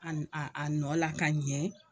Ani a a nɔ la ka ɲɛ